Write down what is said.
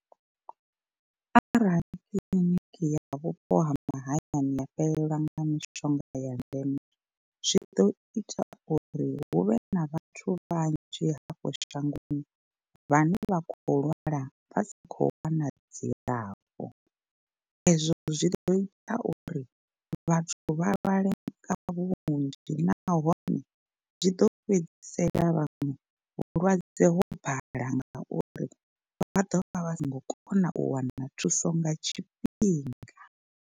Arali kiḽiniki ya vhupo ha mahayani ya fhelelwa nga mishonga ya ndeme zwi ḓo ita uri huvhe na vhathu vhanzhi hafho shangoni vhane vha khou lwala vha sa khou wana dzilafho. Ezwo zwi ḓo ita uri vhathu vha lwale nga vhunzhi nahone zwi ḓo fhedzisela vhaṅwe vhulwadze ho bala ngauri vha ḓo vha vha songo kona u wana thuso nga tshifhinga.